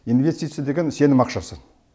инвестиция деген сенім ақшасы